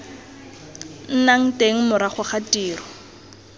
nnang teng morago ga tiro